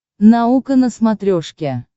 наука на смотрешке